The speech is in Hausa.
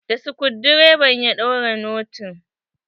Da skudireva ya daure notin.